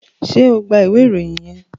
ṣe o gbà ìwé Ìròyìn yén?